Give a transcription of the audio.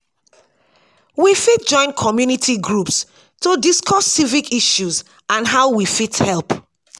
we fit join community groups to discuss civic issues and how we fit help.